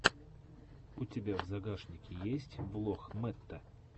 у тебя в загашнике есть влог мэтта